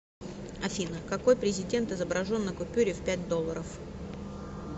афина какой президент изображен на купюре в пять долларов